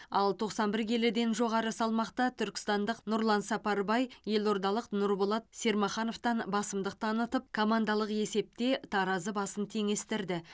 ал тоқсан бір келіден жоғары салмақта түркістандық нұрлан сапарбай елордалық нұрболат сермахановтан басымдық танытып командалық есепте таразы басын теңестірді